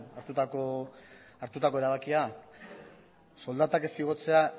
hartutako erabakia soldatak ez igotzea